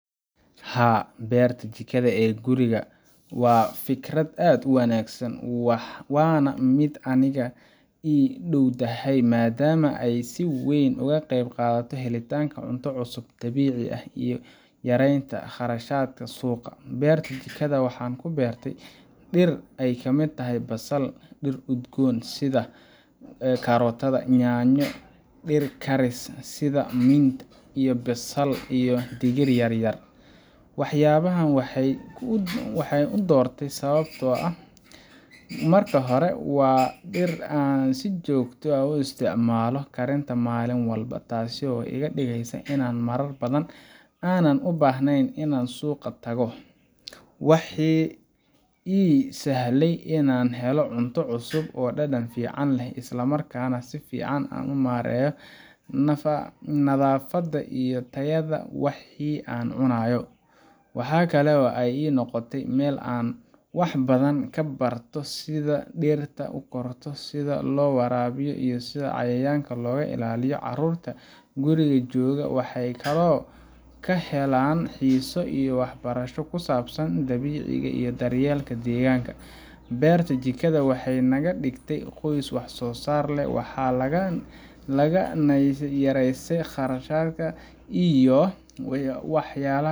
Haa, beerta jikada ee guriga waa fikrad aad u wanaagsan, waana mid aniga ii dhowdahay maadaama ay si weyn uga qayb qaadato helitaanka cunto cusub, dabiici ah, iyo yareynta kharashaadka suuqa. Beerta jikada waxaan ku beertay dhir ay ka mid yihiin basal, dhir udgoon sida karotada , yaanyo, dhir karis sida iyo basil, iyo digir yar-yar. Waxyaabahan waxaan u doortay sababo dhowr ah. Marka hore, waa dhir aan si joogto ah uga isticmaalo karinta maalin walba, taas oo iga dhigeysa inaan marar badan aanan u baahnayn in aan suuqa tago. Waxay ii sahlayaan inaan helo cunto cusub oo dhadhan fiican leh, isla markaana aan si fiican u maareeyo nadaafadda iyo tayada wixii aan cunayo. Waxaa kale oo ay ii noqotay meel aan wax badan ka barto sida dhirta u korto, sida loo waraabiyo, iyo sida cayayaanka looga ilaaliyo. Caruurta guriga jooga waxay kaloo ka helaan xiiso iyo waxbarasho ku saabsan dabiiciga iyo daryeelka deegaanka. Beerta jikada waxay naga dhigtay qoys wax soo saar leh, waxay naga yareysay kharashka guri iyo waxyalaha